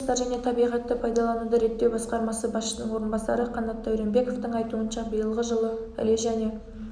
табиғи ресурстар және табиғатты пайдалануды реттеу басқармасы басшысының орынбасары қанат дәуренбековтің айуынша биылғы жылы іле және